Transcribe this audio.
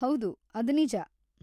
ಹೌದು, ಅದ್ ನಿಜ.